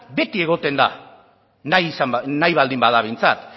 beti egoten da nahi baldin bada behintzat